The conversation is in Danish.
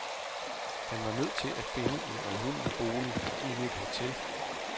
Han var nødt til at finde en almindelig bolig og ikke et hotel.